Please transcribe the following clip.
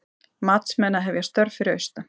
Matsmenn að hefja störf fyrir austan